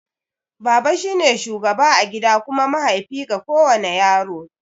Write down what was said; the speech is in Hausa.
Baba shine shugaba a gida kuma mahaifi ga kowana yaro.